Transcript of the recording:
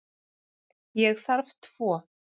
Ég þarf tvo.